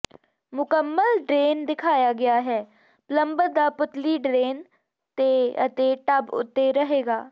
ਮੁਕੰਮਲ ਡਰੇਨ ਦਿਖਾਇਆ ਗਿਆ ਹੈ ਪਲੰਬਰ ਦਾ ਪੁਤਲੀ ਡਰੇਨ ਤੇ ਅਤੇ ਟੱਬ ਉੱਤੇ ਰਹੇਗਾ